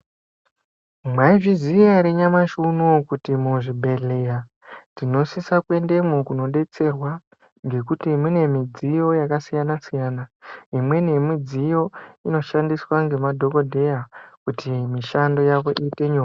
Mwaizviziya ere nyamashi unowu kuti muzvibhedhleya tinosisa kuendemwo kunodetserwa ngekuti mune midziyo yakasiyana siyana imweni yemidziyo inoshandiswa ngemadhokodheya kuti mishando yawo iite nyore.